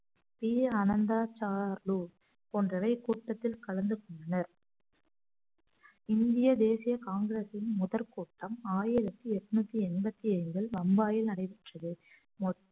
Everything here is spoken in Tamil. பி அனந்தா சாருலு போன்றவை கூட்டத்தில் கலந்து கொண்டனர் இந்திய தேசிய காங்கிரஸின் முதல் கூட்டம் ஆயிரத்தி எட்நூத்தி எண்பத்தி ஏழில் பம்பாயில் நடைபெற்றது